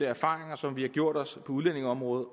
erfaringer som vi har gjort os på udlændingeområdet